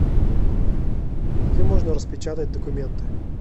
где можно распечатать документы